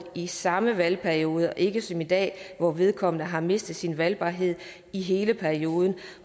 i samme valgperiode og ikke som i dag hvor vedkommende har mistet sin valgbarhed i hele perioden